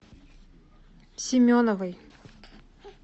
семеновой